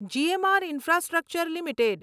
GMR infrastructure limited